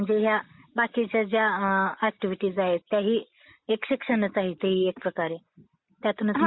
म्हणजे या बाकीच्या ज्या ऍक्टिव्हिटीज आहेत त्याही शिक्षणाचा एक प्रकार आहेत. त्यातूनच...